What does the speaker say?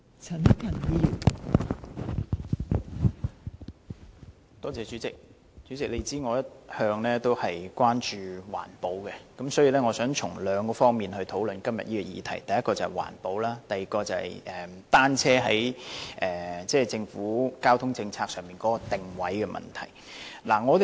代理主席，我一向關注環保，所以我想從兩方面討論今天這項議題：第一，是環保；第二，是單車在政府交通政策上的定位。